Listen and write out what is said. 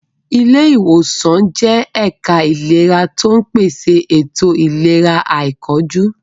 Ilé ìwòsàn jẹ́ ẹ̀ka ìlera tó ń pèsè ètò ìlera àìkánjú.